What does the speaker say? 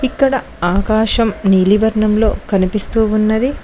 ఇక్కడ ఆకాశం నీలివర్ణంలో కనిపిస్తూ ఉన్నది.